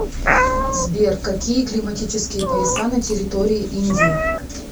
сбер какие климатические пояса на территории индии